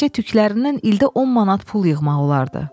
Təkcə tüklərindən ildə 10 manat pul yığmaq olardı.